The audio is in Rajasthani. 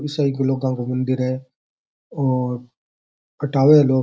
मंदिर है और कटावे लोग --